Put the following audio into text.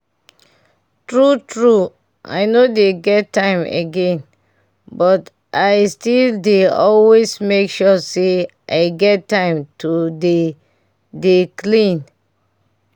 true true i no dey get time again but i still dey always make sure say i get time to dey dey clean